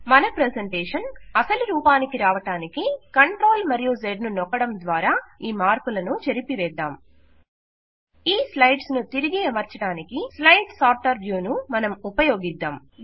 మన ప్రెజెంటేషన్ అసలు రూపానికి రావడానికి CTRL మరియు Z ను నొక్కడం ద్వారా ఈ మార్పులను చెరిపివేద్దాం ఈ స్లైడ్స్ ను తిరిగి అమర్చడానికి స్లైడ్ సార్టర్ వ్యూ ను మనం ఉపయోగిద్దాం